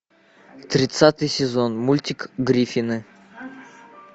тридцатый сезон мультик гриффины